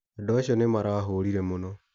Andũ acio marahũrire mũno.